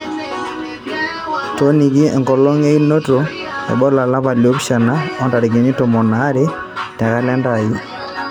to[oniki enkolong einoto e bola olapa li opishana o ntarikini tomon aare te kalenda aai